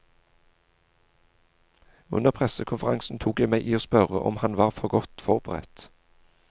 Under pressekonferansen tok jeg meg i å spørre om han var for godt forberedt.